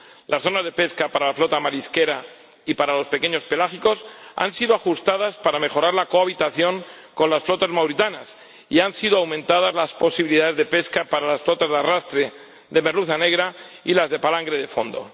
Las zonas de pesca para la flota marisquera y para los pequeños pelágicos han sido ajustadas para mejorar la cohabitación con las flotas mauritanas y han sido aumentadas las posibilidades de pesca para las flotas de arrastre de merluza negra y las de palangre de fondo.